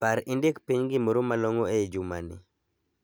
Par indik piny gimoro ma long'o ei jumani.